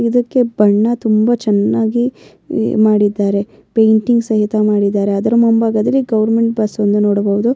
ಇದಕ್ಕೆ ಬಣ್ಣ ತುಂಬಾ ಚೆನ್ನಾಗಿ ಮಾಡಿದ್ದಾರೆ ಪೇಂಟಿಂಗ್ ಸಹಿತ ಮಾಡಿದ್ದಾರೆ ಅದರ ಮುಂಭಾಗದಲ್ಲಿ ಗವರ್ನಮೆಂಟ್ ಬಸ್ ಅನ್ನು ನೋಡಬಹುದು.